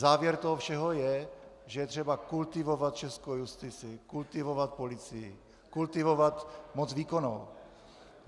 Závěr toho všeho je, že je třeba kultivovat českou justici, kultivovat policii, kultivovat moc výkonnou.